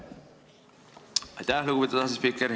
Aitäh, lugupeetud asespiiker!